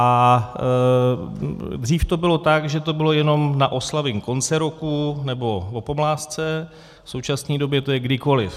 A dřív to bylo tak, že to bylo jenom na oslavy konce roku nebo o pomlázce, v současné době je to kdykoliv.